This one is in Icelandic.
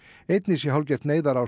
einnig sé hálfgert neyðarástand